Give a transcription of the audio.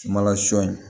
Sumala sɔ in